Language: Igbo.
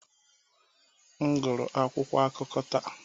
M guru akwụkwọ akụkọ taa.